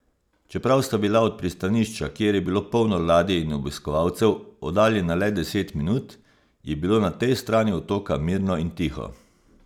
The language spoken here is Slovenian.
Čeprav sta bila od pristanišča, kjer je bilo polno ladij in obiskovalcev, oddaljena le deset minut, je bilo na tej strani otoka mirno in tiho.